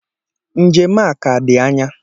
Njem a ka dị anya